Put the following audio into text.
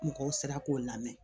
Mɔgɔw sera k'o lamɛn